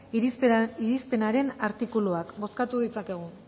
irizpenaren artikuluak bozkatu ditzakegu